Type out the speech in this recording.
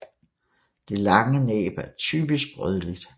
Det lange næb er typisk rødligt